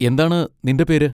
എന്താണ് നിന്റെ പേര്?